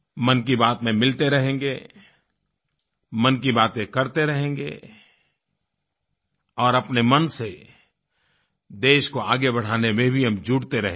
मन की बात में मिलते रहेंगे मन की बातें करते रहेंगे और अपने मन से देश को आगे बढ़ाने में भी हम जुटते रहेंगे